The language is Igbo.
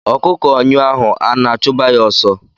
Ọkụkọ nyụọ ahụ ana achuba ya ọsọ.